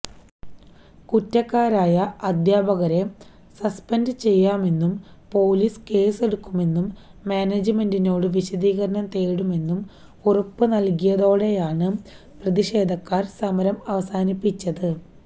കുറ്റക്കാരായ അധ്യാപകരെ സസ്പെന്ഡ് ചെയ്യാമെന്നും പൊലീസ് കേസെടുക്കുമെന്നും മാനേജ്മന്റെിനോട് വിശദീകരണം തേടുമെന്നും ഉറപ്പും നല്കിയോടെയാണ് പ്രതിഷേധക്കാര് സമരം അവസാനിപ്പിച്ചത്